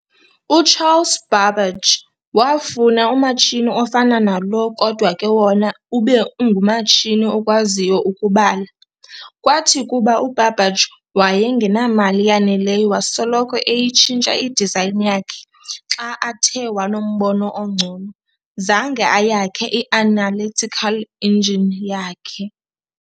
U-Charles Babbage wafuna umatshini ofana nalo kodwa ke wona ube ngumatshini okwaziyo ukubala. Kwathi kuba u-Babbage wayengamali yanelelyo wasoloko eyitshintsha i-design yakhe xa athe wanombono ongcono, zange ayakhe i-Analytical Engine yakhe.